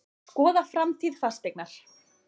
Skoða framtíð Fasteignar